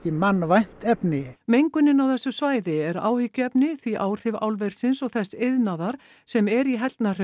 mannvænt efni mengunin á þessu svæði er áhyggjuefni því áhrif álversins og þess iðnaðar sem er í